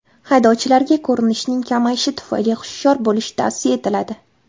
Haydovchilarga ko‘rinishning kamayishi tufayli hushyor bo‘lish tavsiya etiladi.